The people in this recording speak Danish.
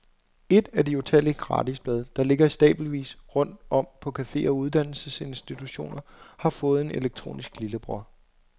Et af de utallige gratisblade, der ligger i stabelvis rundt om på caféer og uddannelsesinstitutioner, har fået en elektronisk lillebror.